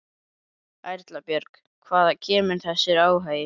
Erla Björg: Hvaðan kemur þessi áhugi?